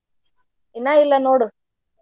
ಇನ್ನ ಇಲ್ಲ ನೋಡು.